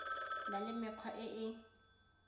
na le mekgwa e e